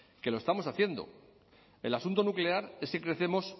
que lo estamos haciendo el asunto nuclear es que crecemos